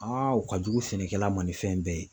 o ka jugu sɛnɛkɛla ma ni fɛn bɛɛ ye.